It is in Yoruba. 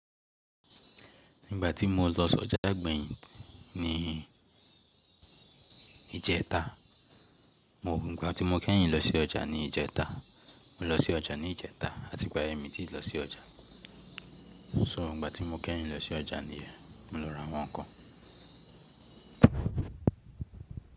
Nígbà tí mo lọ sí ọjà gbẹ̀yìn ní ìjẹta, nígbà tí mo kẹ́yìn lọ sí ọjà ní ìjẹta, mo lọ sí ọjà ní ìjẹta làti ìgbà yẹn mì ti ń lọ sí ọjà. So nígbà tí mo kẹ́yìn lọ sí ọjà ni, mo lọ ra àwọn ǹkan.